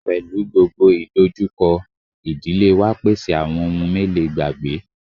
Mahopọnna avùnnukundiọsọmẹnu whẹndo tọn mítọn lẹ hẹn linlin dagbe susu wá